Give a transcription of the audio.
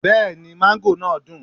Bẹ́ẹ̀ni mango náà dùn.